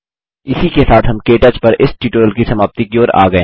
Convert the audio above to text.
इसी के साथ हम के टच पर इस ट्यूटोरियल की समाप्ति की ओर आ गये हैं